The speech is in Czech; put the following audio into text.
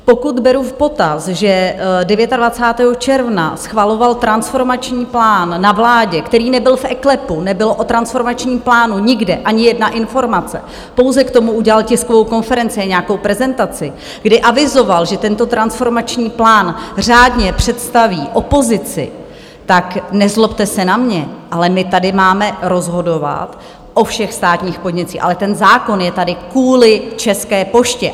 Pokud beru v potaz, že 29. června schvaloval transformační plán na vládě, který nebyl v eKLEPu, nebyla o transformačním plánu nikde ani jedna informace, pouze k tomu udělal tiskovou konferenci a nějakou prezentaci, kdy avizoval, že tento transformační plán řádně představí opozici, tak nezlobte se na mě, ale my tady máme rozhodovat o všech státních podnicích, ale ten zákon je tady kvůli České poště.